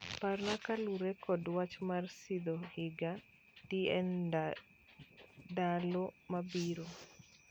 Parna kaluwore kod wach mar sidho higa dndalo mabiro